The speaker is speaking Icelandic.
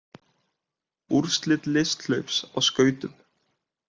Úrslit listhlaups á skautum